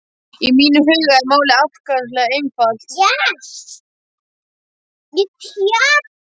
Í mínum huga er málið ákaflega einfalt.